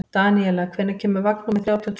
Daníela, hvenær kemur vagn númer þrjátíu og tvö?